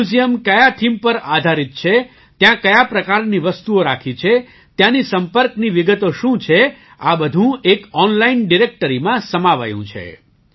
museum કયા theme પર આધારિત છે ત્યાં કયા પ્રકારની વસ્તુઓ રાખી છે ત્યાંની સંપર્કની વિગતો શું છે આ બધું એક ઑનલાઇન ડિરેક્ટરીમાં સમાવાયું છે